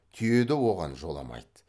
түйе де оған жоламайды